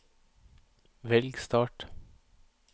velg start